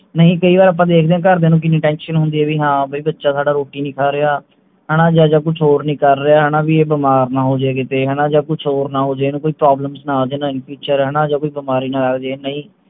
ਨਹੀਂ ਕਈ ਵਾਰ ਆਪਾਂ ਦੇਖਦੇ ਆ ਵੀ ਘਰ ਦੀਆਂ ਨੂੰ ਕਿੰਨੀ tension ਹੁੰਦੀ ਹੈ ਵੀ ਹਾਂ ਬੱਚਾ ਸਾਡਾ ਰੋਟੀ ਨਹੀਂ ਖਾ ਰਿਹਾ ਹਣਾ ਜਾ ਕੁਛ ਹੋਰ ਨਹੀਂ ਕਰ ਰਿਹਾ ਹਣਾ ਵੀ ਇਹ ਬੀਮਾਰ ਨਾ ਹੋ ਜੇ ਕਿਤੇ ਹਣਾ ਜਾ ਕੁਝ ਹੋਰ ਨਾ ਹੋ ਜੇ ਇਹਨੂੰ ਕੋਈ problems ਨਾ ਆ ਜਾਣ in future ਹਣਾ ਜਾ ਕੋਈ ਬਿਮਾਰੀ ਨਾ ਆ ਜਾਵੇ ਨਹੀਂ